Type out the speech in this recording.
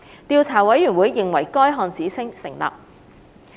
調査委員會認為該項指稱成立。